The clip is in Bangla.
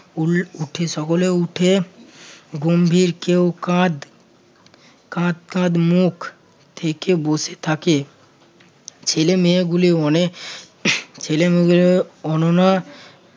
উল~ উঠে সকলে উঠে গম্ভীর কেউ কাঁদ~ কাঁদ মুখে থেকে বসে থাকে ছেলেমেয়েগুলি অনেক ছেলেমেয়েগুলি অনুমা